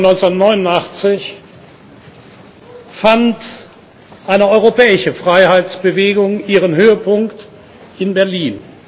am 9. November 1989 fand eine europäische Freiheitsbewegung ihren Höhepunkt in Berlin.